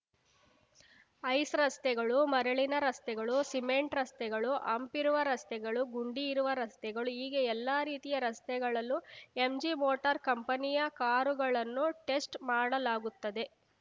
ice ರಸ್ತೆಗಳು ಮರಳಿನ ರಸ್ತೆಗಳು ಸಿಮೆಂಟ್‌ ರಸ್ತೆಗಳು ಹಂಪ್‌ ಇರುವ ರಸ್ತೆಗಳು ಗುಂಡಿ ಇರುವ ರಸ್ತೆಗಳು ಹೀಗೆ ಎಲ್ಲಾ ರೀತಿಯ ರಸ್ತೆಗಳಲ್ಲೂ ಎಂಜಿ ಮೋಟಾರ್‌ ಕಂಪನಿಯ ಕಾರುಗಳನ್ನು ಟೆಸ್ಟ್‌ ಮಾಡಲಾಗುತ್ತದೆ